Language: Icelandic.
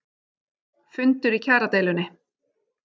Fundur í kjaradeilunni